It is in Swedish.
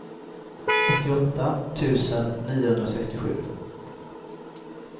åttioåtta tusen niohundrasextiosju